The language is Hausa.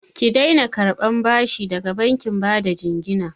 Ki daina karɓan bashi da bankin bada jingina!